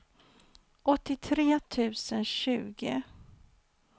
åttiotre tusen tjugo